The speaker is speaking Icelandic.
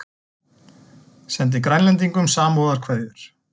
Sendi Grænlendingum samúðarkveðjur